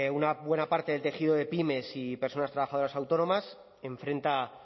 una buena parte del tejido de pymes y personas trabajadoras autónomas enfrenta